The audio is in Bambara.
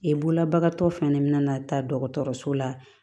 E bololabagatɔ fɛn min bɛna na taa dɔgɔtɔrɔso la